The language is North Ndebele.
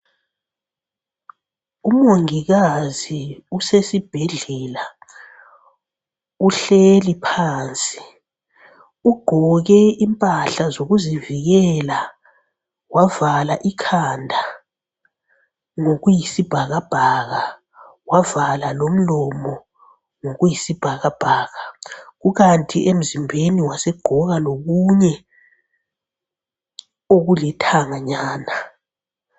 Umongikazi usesibhedlela uhleli phansi ugqoke impahla zokuzivikela wavala ikhanda ngokuyibhakabhaka, wavala lomlomo ngokuyibhakabhaka ikanti lasemzimbeni wasegqoka lokunye okulithanganyana.